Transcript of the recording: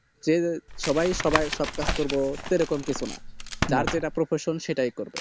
এই যে সবাই সবার সব কাজ করবো সেরকম কিছু না যার যেটা profesion সেটাই করবে